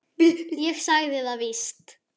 Ég sagði það víst.